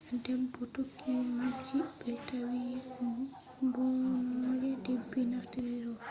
debe tokki mapji be tawi mbononnada debi naftiri rov